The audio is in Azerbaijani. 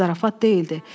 Zarafat deyildi.